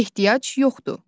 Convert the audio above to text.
Ehtiyac yoxdur.